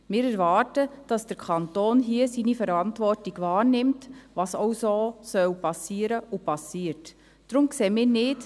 Wir erwarten, dass der Kanton hier seine Verantwortung wahrnimmt, was auch so geschehen soll und so geschieht.